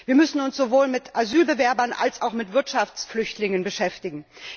Wir müssen uns sowohl mit Asylbewerbern als auch mit Wirtschaftsflüchtlingen beschäftigen.